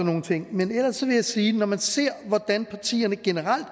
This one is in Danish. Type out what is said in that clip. nogle ting men ellers vil jeg sige at når man ser hvordan partierne generelt